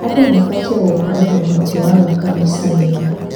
Andũ mabatiĩ gũkorwo na ũhoti wa gwaka maica mega.